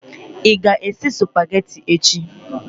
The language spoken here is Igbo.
ị ga-esi Supagetii echi?